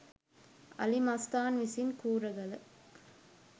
අලි මස්තාන් විසින් කූරගල